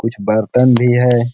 कुछ बर्तन भी है।